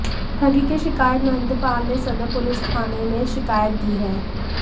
ठगी के शिकायत महेंद्र पाल ने सदर पुलिस थाने में शिकायत दी है